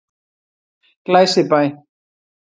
Glæsibæ